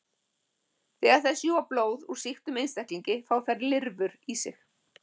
Þegar þær sjúga blóð úr sýktum einstaklingi fá þær lirfur í sig.